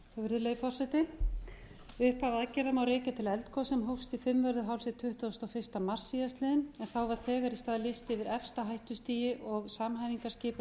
virðulegi forseti upphaf aðgerða má rekja til eldgoss sem hófst í fimmvörðuhálsi tuttugasta og fyrsta mars síðastliðinn en þá var þegar í stað lýst yfir efsta hættustigi og samhæfingarskipulag